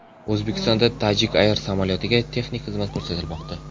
O‘zbekistonda Tajik Air samolyotiga texnik xizmat ko‘rsatilmoqda.